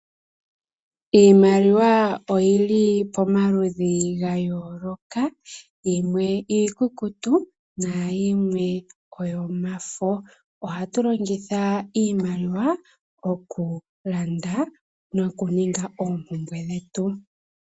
Iimaliwa oyili pomaludhi ga yooloka yimwe iikukutu nayimwe oyomafo. Ohatu longitha iimaliwa oku landa noku ninga oompumbwe dhetu.